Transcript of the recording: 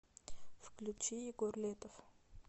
включи егор летов